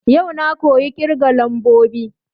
Yau na koyi ƙirga lambobi